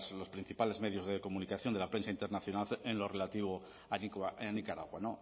los principales medios de comunicación de la prensa internacional en lo relativo a nicaragua